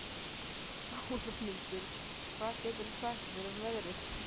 Þórmundur, hvað geturðu sagt mér um veðrið?